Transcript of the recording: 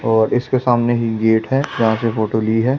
और इसके सामने ही गेट है जहां से फोटो ली है।